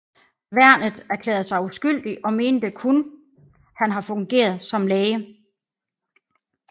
Værnet erklærede sig uskyldig og mente kun han har fungeret som læge